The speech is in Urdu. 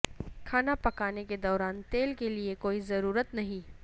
کھانا پکانے کے دوران تیل کے لئے کوئی ضرورت نہیں